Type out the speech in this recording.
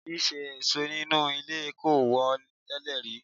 Ṣíṣe ẹ̀sọ́ inú ilé kò wọ́n tẹ́lẹ̀ rí.